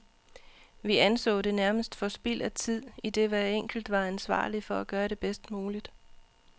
Vi anså det nærmest for spild af tid, idet hver enkelt var ansvarlig for at gøre det bedst muligt.